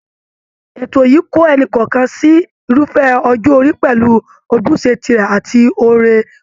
Ètò yìí kó ẹnì kọ̀ọ̀kan sí irúfẹ́ ọjọ́ orí pẹ̀lú ojúṣe tirẹ̀ àti oore ọ̀fẹ́